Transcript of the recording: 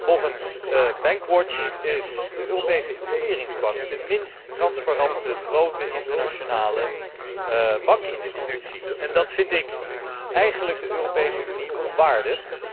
Volgens Bankwatch is de Europese Investeringsbank de minst transparante grote internationale bankinstelling en dat vind ik eigenlijk de Europese Unie onwaardig.